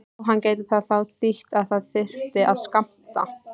Jóhann: Gæti það þá þýtt að það þyrfti að skammta?